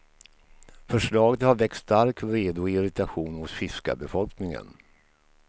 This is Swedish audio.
Förslaget har väckt stark vrede och irritation hos fiskarbefolkningen.